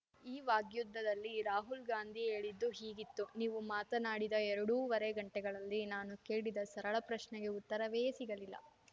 ಈ ವಾಗ್ಯುದ್ಧದಲ್ಲಿ ರಾಹುಲ್‌ ಗಾಂದಿ ಹೇಳಿದ್ದು ಹೀಗಿತ್ತು ನೀವು ಮಾತನಾಡಿದ ಎರಡೂವರೆ ಗಂಟೆಗಳಲ್ಲಿ ನಾನು ಕೇಳಿದ ಸರಳ ಪ್ರಶ್ನೆಗೆ ಉತ್ತರವೇ ಸಿಗಲಿಲ್ಲ